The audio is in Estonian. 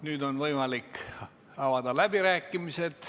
Nüüd on võimalik avada läbirääkimised.